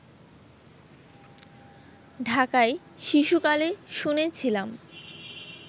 ঢাকায় শিশুকালে শুনেছিলাম